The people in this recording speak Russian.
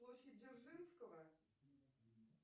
площадь дзержинского